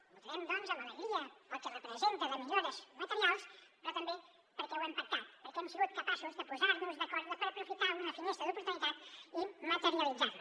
hi votarem doncs amb alegria pel que representa de millores materials però també perquè ho hem pactat perquè hem sigut capaços de posarnos d’acord per aprofitar una finestra d’oportunitat i materialitzarla